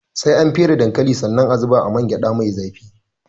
Sai an fere dankalin sannan a zuba a man gyaɗa mai zafi